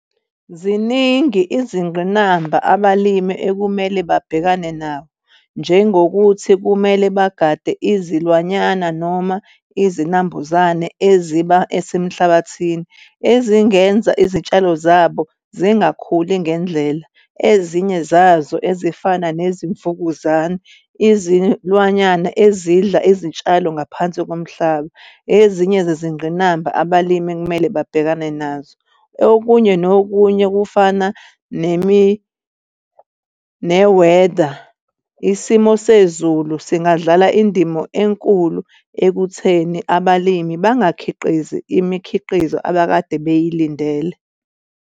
Ziningi izingqinamba abalimi ekumele babhekane nabo, njengokuthi kumele bagade izilwanyana noma izinambuzane eziba esemhlabathini ezingenza izitshalo zabo zingakhuli ngendlela. Ezinye zazo ezifana nezimvukuzane, izilwanyana ezidla izitshalo ngaphansi komhlaba, ezinye zezingqinamba abalimi ekumele babhekane nazo. Okunye nokunye, kufana ne-weather. Isimo sezulu singadlala indimo enkulu ekutheni abalimi bangakhiqizi imikhiqizo abekade beyilindele.